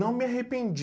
Não me arrependi.